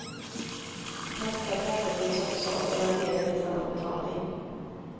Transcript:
Fasta platser finns också men de ger inte samma betalning.